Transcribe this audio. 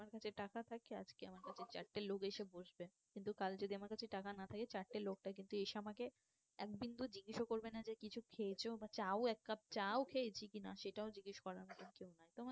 আমার কাছে টাকা থাকে আজকে আমার কাছে চারটে লোক এসে বসবে কিন্তু কাল যদি আমার কাছে টাকা না থাকে চারটে লোকটা কিন্তু এসে আমাকে এক বিন্দু জিজ্ঞাসাও করবে না যে কিছু খেয়েছো? বা চা ও এক কাপ চা ও খেয়েছি কি না সেটাও জিজ্ঞেস করার মতন কেউ নাই